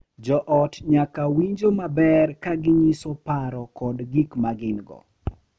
Jo ot nyaka winjo maber ka ginyiso paro kod gik ma gin-go .